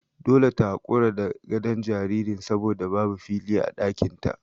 Dole ta hakura da gadon jaririn saboda babu fili a ɗakin ta.